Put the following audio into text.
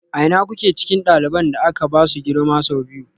A ina kuke cikin ɗaliban da aka ba su girma sau biyu?